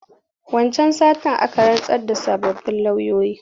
Wancan satin aka rantsar da sababbin loyoyi.